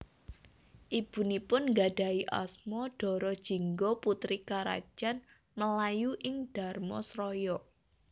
Ibunipun nggadhahi asma Dara Jingga putri Karajan Melayu ing Dharmasraya